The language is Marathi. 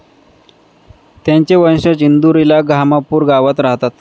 त्यांचे वंशज इंदूरला घामापूर गावात राहात.